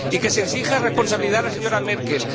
Y que se exija responsabilidad a la señora Merkel.